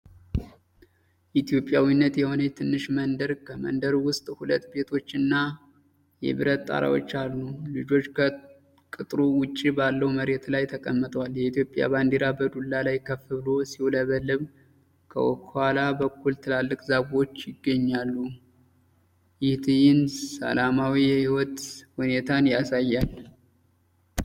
ኢትዮጵያዊት የሆነች ትንሽ መንደር ከመንደሩ ውስጥ ሁለት ቤቶችና የብረት ጣሪያዎች አሉ። ልጆች ከቅጥሩ ውጪ ባለው መሬት ላይ ተቀምጠዋል። የኢትዮጵያ ባንዲራ በዱላ ላይ ከፍ ብሎ ሲውለበለብ፣ ከኋላ በኩል ትላልቅ ዛፎችና ይገኛሉ። ይህ ትዕይንሰላማዊ የህይወት ሁኔታን ያሳያል።